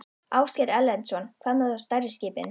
Ásgeir Erlendsson: Hvað með þá stærri skipin?